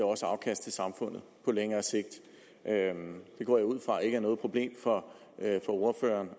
også afkast til samfundet på længere sigt det går jeg ud fra ikke er noget problem for ordføreren